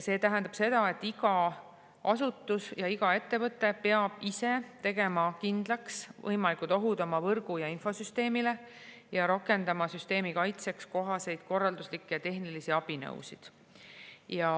See tähendab seda, et iga asutus ja iga ettevõte peab ise tegema kindlaks võimalikud ohud oma võrgu- ja infosüsteemile ning rakendama süsteemi kaitseks kohaseid korralduslikke ja tehnilisi abinõusid.